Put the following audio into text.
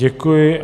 Děkuji.